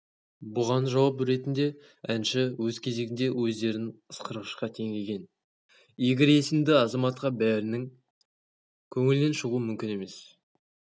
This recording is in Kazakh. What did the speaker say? бұған жауап ертінде әншіөз кезегінде өздерін ысқырғышқа теңеген игорь есімді азаматқа бәрінің көңілінен шығу мүмкін емес